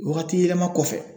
Wagati yɛlɛma kɔfɛ